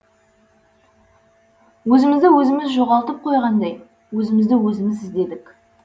өзімізді өзіміз жоғалтып қойғандай өзімізді өзіміз іздедік